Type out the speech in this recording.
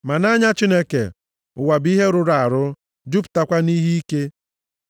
Ma nʼanya Chineke, ụwa bụ ihe rụrụ arụ, jupụtakwa nʼihe ike.